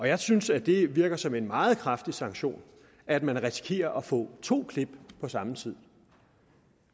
jeg synes at det virker som en meget kraftig sanktion at man risikerer at få to klip på samme tid